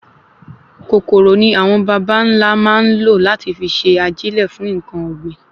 Kòkòrò ni awọn bàbá nlá máa n lo lati fi n se ajilẹ fún nkan ògbìn